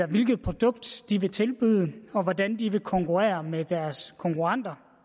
hvilket produkt de vil tilbyde og hvordan de vil konkurrere med deres konkurrenter